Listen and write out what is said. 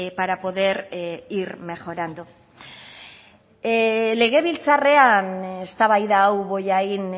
para poder ir mejorando legebiltzarrean eztabaida hau bollain